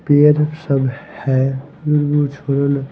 Pair सब हैमोमोस ।